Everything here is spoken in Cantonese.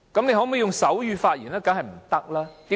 那麼用手語發言又如何？